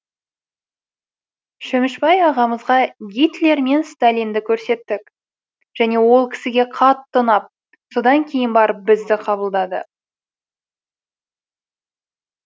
шөмішбай ағамызға гитлер мен сталинді көрсеттік және ол кісіге қатты ұнап содан кейін барып бізді қабылдады